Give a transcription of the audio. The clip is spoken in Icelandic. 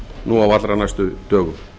nú á allra næstu dögum